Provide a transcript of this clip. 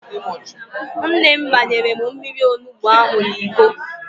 Nne m gbanyere m mmiri onugbo ahụ n'Iko